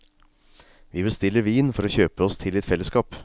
Vi bestiller vin for å kjøpe oss til litt fellesskap.